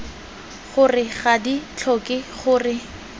gore ga di tlhoke gore